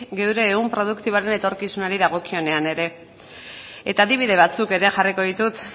gure ehun produktiboren etorkizunari dagokionean ere eta adibide batzuk ere jarriko ditut